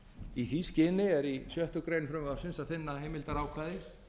í því skyni er í sjöttu greinar frumvarpsins að finna heimildarákvæði